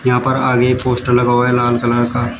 यहां पर आगे एक पोस्टर लगा हुआ है लाल कलर का।